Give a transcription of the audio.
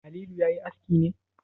Halilu ya yi aski ne?